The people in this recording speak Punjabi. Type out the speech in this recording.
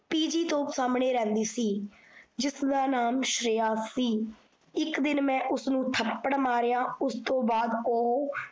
ਪੀਜੀ ਤੋਂ ਸਾਮਣੇ ਰਹਿੰਦੀ ਸੀ। ਜਿਸ ਦਾ ਨਾਮ ਸ਼੍ਰੇਯਾ ਸੀ, ਇੱਕ ਦਿਨ ਮੈਂ ਉਸਨੂ ਥੱਪੜ ਮਾਰਿਆ ਉਸ ਤੋਂ ਬਾਚ ਓਹੋ